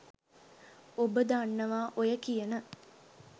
ඔබ දන්නවා ඔය කියන